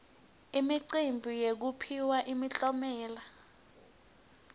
imicimbi yekuphiwa imiklomelo